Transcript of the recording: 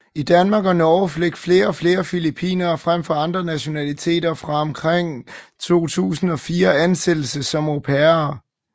I Danmark og Norge fik flere og flere filippinere frem for andre nationaliteter fra omkring 2004 ansættelse som au pairer